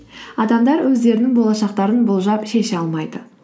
адамдар өздерінің болашақтарын болжап шеше алмайды